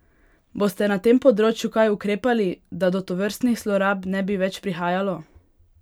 Boste na tem področju kaj ukrepali, da do tovrstnih zlorab ne bi več prihajalo?